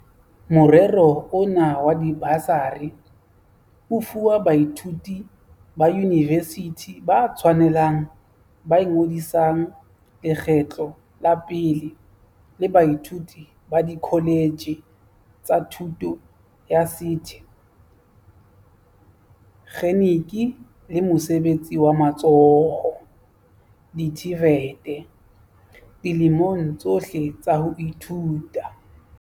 Morero ona wa dibasari o fuwa baithuti ba yunivesithi ba tshwanelang ba ingodisang lekgetlo la pele le baithuti ba dikholetjhe tsa thuto ya sethe kgeniki le mosebetsi wa matsoho, di-TVET, dilemong tsohle tsa ho ithuta.